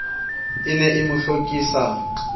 e ne e mo hlokisa